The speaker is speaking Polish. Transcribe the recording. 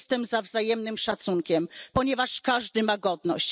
Jestem za wzajemnym szacunkiem, ponieważ każdy ma godność.